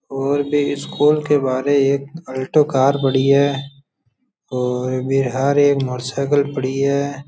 और भी स्कूल के बहरे एक आल्टो कार खड़ी है और बाहर ये मोटर साइकिल खड़ी है।